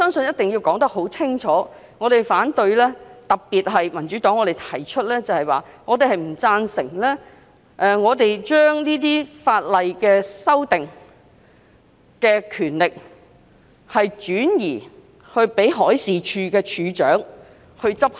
我希望述明我們反對的理由，特別是為何民主黨不贊成把修訂法例的權力轉移予海事處處長。